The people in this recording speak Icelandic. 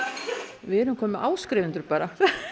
við erum komin með áskrifendur bara að